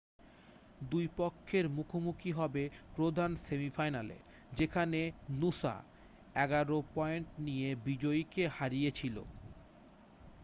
2 পক্ষের মুখোমুখি হবে প্রধান সেমিফাইনালে যেখানে নূসা 11 পয়েন্ট নিয়ে বিজয়ীকে হারিয়েছিল